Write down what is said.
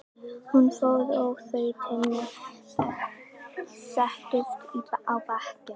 Hún fór og þau Tinna settust á bekkinn.